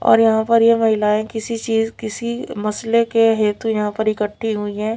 और यहां पर ये महिलाएं किसी चीज किसी मसले के हेतु यहा पर इकट्ठी हुई है।